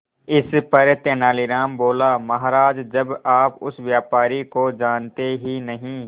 इस पर तेनालीराम बोला महाराज जब आप उस व्यापारी को जानते ही नहीं